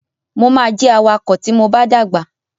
Mo ma jẹ awakọ ti mo ba dàgbà.